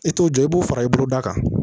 I t'o jɔ i b'o fara i boloda kan